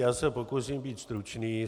Já se pokusím být stručný.